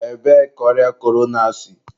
ebee ka ọrịa korona si?